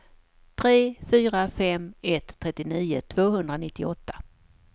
tre fyra fem ett trettionio tvåhundranittioåtta